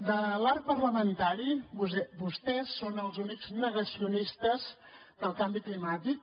de l’arc parlamentari vostès són els únics negacionistes del canvi climàtic